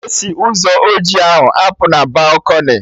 Esi Ụzọ oji ahụ apụ na balkọnị?